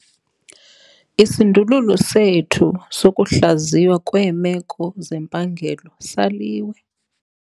Isindululo sethu sokuhlaziywa kweemeko zempangelo saliwe.